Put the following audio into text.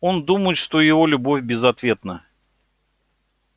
он думает что его любовь безответна